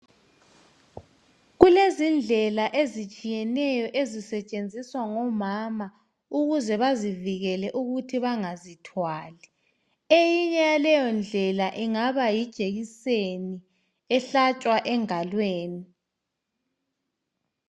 Kulezindlela ezitshiyeneyo ezisetshenziswa ngomama ukuze bazivikele ukuthi bangazithwali. Eyinye yaleyondlela ingaba yijekiseni ehlatshwa engalweni.